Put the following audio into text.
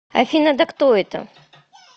афина да кто это